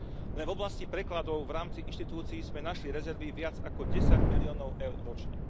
Len v oblasti prekladov v rámci inštitúcií sme našli rezervy viac ako 10 miliónov eur ročne.